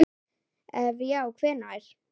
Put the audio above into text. ef já hvenær??